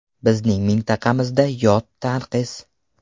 Bizning mintaqamizda yod tanqis.